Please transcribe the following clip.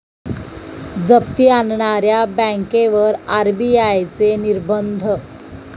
जप्ती आणणाऱ्या बँकेवर आरबीआयचे निर्बंध